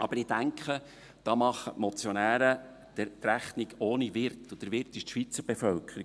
Aber ich denke, da machen die Motionäre die Rechnung ohne den Wirt, und der Wirt ist die Schweizer Bevölkerung.